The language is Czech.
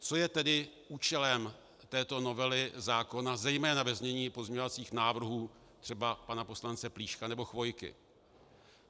Co je tedy účelem této novely zákona, zejména ve znění pozměňovacích návrhů třeba pana poslance Plíška nebo Chvojky?